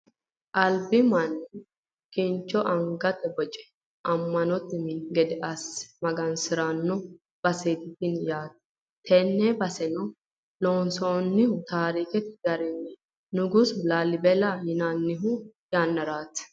albi manni kincho angatenni boce amma'note mini gede asse magansiranno baseeti tini yaate, tenne baseno loonsoonnihu taarikete garinni nugusu laalibela yinannihu yannaraati.